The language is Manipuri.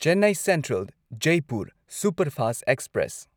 Chennai central Jaipur superfast express